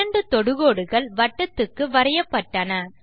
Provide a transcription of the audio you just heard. இரண்டு தொடுகோடுகள் வட்டத்துக்கு வரையப்பட்டன